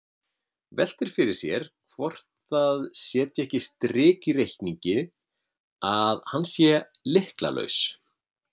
Veltir fyrir sér hvort það setji ekki strik í reikninginn að hann er lykla- laus.